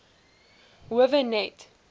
howe net